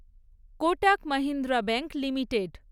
Kotak Mahindra bank limited